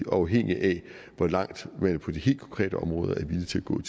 afhængig af hvor langt man på de helt konkrete områder er villige til at gå